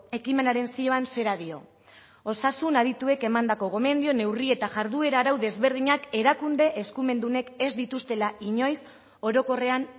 ekimenaren zioan zera dio osasun adituek emandako gomendio neurri eta jarduera arau desberdinak erakunde eskumendunek ez dituztela inoiz orokorrean